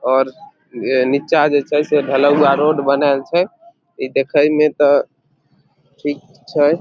और नीचा जे छै से ढलोवा रोड छै बनाल छै इ देखे में ते ठीक छै।